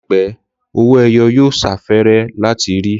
Láìpẹ́, owó ẹyọ yóò sáfẹ́rẹ́ láti rí